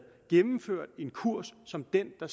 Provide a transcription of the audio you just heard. gennemført en kurs som den der